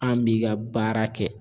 An b'i ka baara kɛ